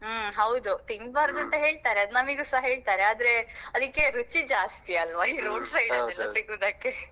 ಹ್ಮ್ ಹೌದು ತಿನ್ಬಾರ್ದು ಅಂತ ಹೇಳ್ತಾರೆ ಅದ್ ನಮಿಗುಸ ಹೇಳ್ತಾರೆ ಆದ್ರೆ ಅದಿಕ್ಕೆ ರುಚಿ ಜಾಸ್ತಿ ಅಲ್ವ ಈ road side ಅಲ್ಲೆಲ್ಲ ಸಿಗುದಕ್ಕೆ.